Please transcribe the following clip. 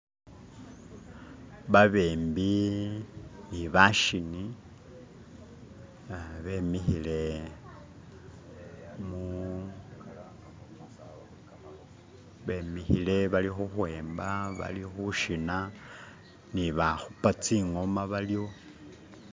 Babembi ne bashini uh bemikhile bali u'khwemba, bali khushina ni bakhupa tsi'ngoma baliwo.